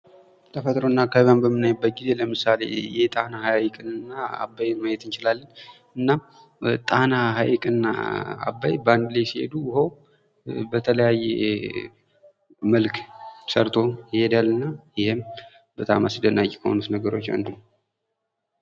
ተፈጥሮና አካባቢዎን በምናይበት ጊዜ፦ ለምሳሌ የጣና ሐይቅንና አባይን ማየት እንችላለን ። እና ጣና ሀይቅና አባይ በአንድ ላይ ሲሄዱ ውሃው በተለያየ መልክ ሰርቶ ይሄዳልና ይህም በጣም አስደናቂ ከሆኑት ነገሮች አንዱ ነው ።